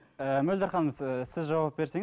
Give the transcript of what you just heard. ы мөлдір ханым сіз жауап берсеңіз